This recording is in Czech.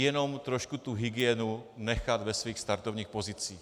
Jenom trošku tu hygienu nechat v jejích startovních pozicích.